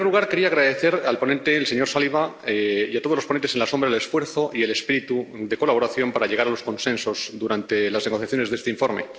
En primer lugar, quería agradecer al ponente, el señor Saliba, y a todos los ponentes alternativos el esfuerzo y el espíritu de colaboración para llegar a los consensos durante las negociaciones de este informe.